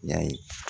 Ya ye